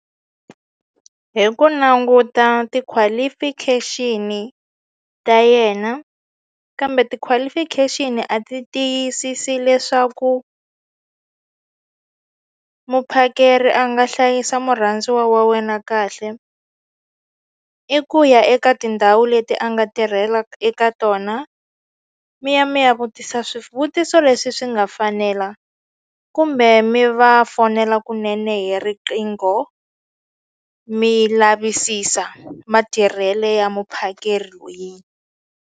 Hi ku languta ti-qualification ta yena kambe ti-qualification a ti tiyisisi leswaku muphakeri a nga hlayisa murhandziwa wa wena kahle i ku ya eka tindhawu leti a nga tirhelaku eka tona mi ya mi ya vutisa swivutiso leswi swi nga fanela kumbe mi va fonela kunene hi riqingho mi lavisisa matirhelo ya muphakeri .